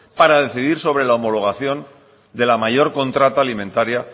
para decidir sobre la homologación de la mayor contrata alimentaria